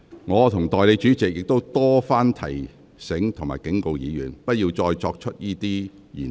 我和代理主席亦曾多番提醒及警告議員，不要再次使用這些言詞。